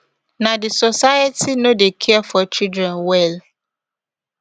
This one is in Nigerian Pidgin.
na di society no dey care for children well